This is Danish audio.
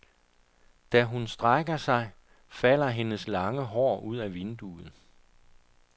Da hun strækker sig, falder hendes lange hår ud af vinduet.